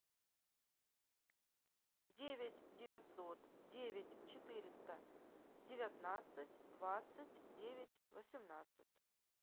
девять девятьсот девять четыреста девятнадцать двадцать девять восемнадцать